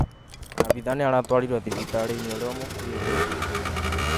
Abithaa nĩ aratwarirwo thibitarĩ-inĩ ũrĩa ũkuhĩrĩirie